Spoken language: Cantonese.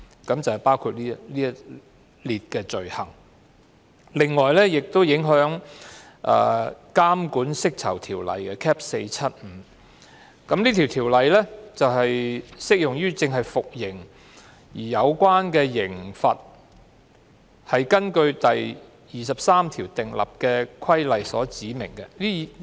此外，有關修訂亦影響《監管釋囚條例》，這項條例只適用於服刑人士，即正在服刑而有關刑罰是根據第23條訂立的規例所指明的。